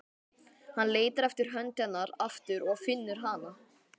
Hann leitar eftir hönd hennar aftur og finnur hana.